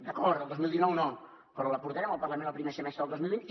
d’acord el dos mil dinou no però la portarem al parlament el primer semestre del dos mil vint